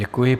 Děkuji.